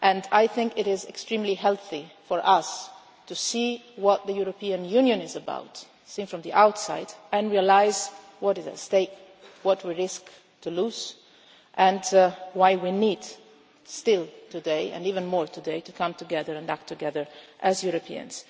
I think it is extremely healthy for us to see what the European Union is about, seen from the outside, and realise what is at stake, what we risk losing, and why we need still today, and even more today, to come together and act together as Europeans.